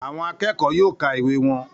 Àwọn akẹ́kọ̀ọ́ yóò ka ìwé wọn